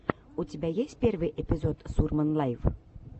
у тебя есть первый эпизод сурман лайв